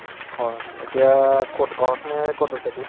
হয় এতিয়া কʼত ঘৰত নে কʼত আছা এতিয়া?